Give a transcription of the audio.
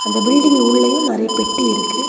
இந்த பில்டிங் உள்ளெயு நெறைய பெட்டி இருக்கு.